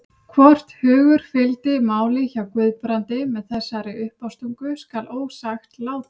Hvort hugur fylgdi máli hjá Guðbrandi með þessari uppástungu skal ósagt látið.